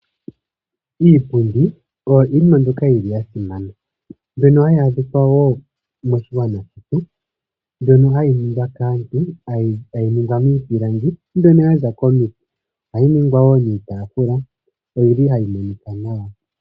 Iipundi oya simana mbyono hayi adhika wo moshigwana shetu. Ohayi ningwa kaantu taya longitha iipilangi mbyono yaza momiti nohayi monika nawa.